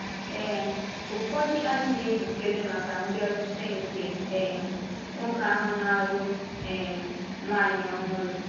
Ee, ụfọdụ adịghị njikere maka mbịarute nke um Nwoke ahụ na-alụ um Nwanyi Ọhụrụ.